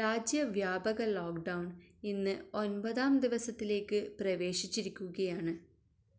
രാജ്യ വ്യാപക lockdown ഇന്ന് ഒൻപതാം ദിവസത്തിലേക്ക് പ്രവേശിച്ചിരിക്കുകയാണ്